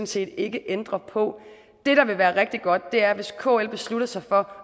set ikke ændre på det der ville være rigtig godt var hvis kl besluttede sig for